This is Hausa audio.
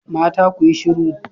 Mata ku yi shiru